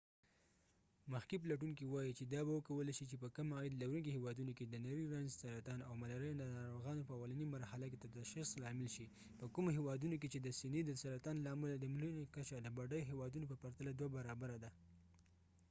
مخکښ پلټونکې وایي چې دا به وکولای شي چې په کم عاید لرونکې هیوادونو کې د نری رنځ سرطان ، hivاو ملارېا د ناروغانو په اولنی مرحله کې د تشخیص لامل شي په کومو هیوادونو کې چې د سینې د سرطان له امله د مړینې کچه د بډای هیوادونو په پرتله دوه برابره ده